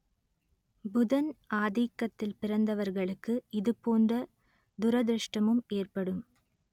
புதன் ஆதிக்கத்தில் பிறந்தவர்களுக்கு இதுபோன்ற துரதிருஷ்டமும் ஏற்படும்